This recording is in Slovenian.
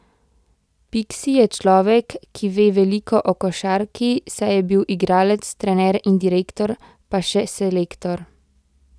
Piksi je človek, ki ve veliko o košarki, saj je bil igralec, trener in direktor, pa še selektor.